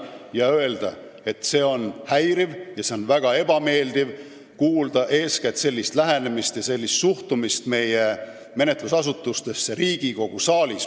Tahan öelda, et väga häiriv ja väga ebameeldiv on kuulda sellist lähenemist ja näha sellist suhtumist meie menetlusasutustesse Riigikogu saalis.